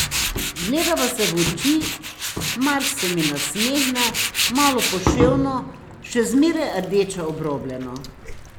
Gledava se v oči, Mars se mi nasmehne, malo poševno, še zmeraj rdeče obrobljeno.